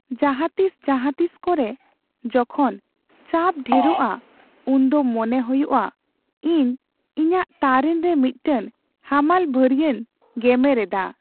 ᱡᱟᱦᱟᱸ ᱛᱤᱥ ᱡᱟᱦᱟᱸ ᱛᱤᱥ ᱠᱚᱨᱮ, ᱡᱚᱠᱷᱚᱡ ᱪᱟᱯ ᱰᱷᱮᱨᱚᱜᱼᱟ, ᱩᱱᱫᱚ ᱢᱚᱱᱮ ᱦᱩᱭᱩᱜᱼᱟ ᱤᱧ ᱤᱧᱟᱹᱜ ᱛᱟᱨᱮᱱ ᱨᱮ ᱢᱤᱫᱴᱟᱝ ᱦᱟᱢᱟᱞ ᱵᱷᱟᱹᱨᱭᱟᱹᱧ ᱜᱮᱢᱮᱨ ᱮᱫᱟ ᱾